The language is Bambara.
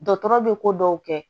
Dɔgɔtɔrɔ bɛ ko dɔw kɛ